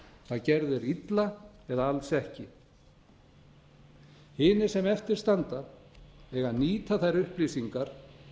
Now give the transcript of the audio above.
þeir illa eða alls ekki hinir sem eftir standa eiga að nýta þær upplýsingar